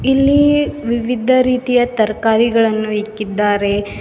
ಇಲ್ಲಿ ವಿವಿಧ ರೀತಿಯ ತರಕಾರಿಗಳನ್ನು ಇಕ್ಕಿದ್ದಾರೆ.